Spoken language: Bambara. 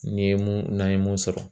N'i ye mun n'an ye mun sɔrɔ